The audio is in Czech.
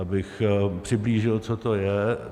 Abych přiblížil, co to je.